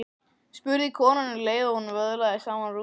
spurði konan um leið og hún vöðlaði saman rúmfötunum.